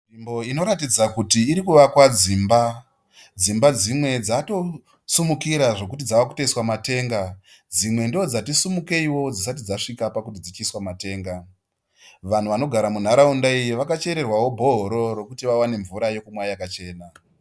Nzvimbo inoratidza kuti irikuvakwa dzimba. Dzimba dzimwe dzatosimukira zvekuti dzave kutoiswa matenga. Dzimwe ndodzatisimukeio dzisati dzasvika pakuti dzichiiswa matenga. Vanhu vanogara munharaunda iyi vakachererwao bhohoro rekuti wawane mvura yekumwa yakachena.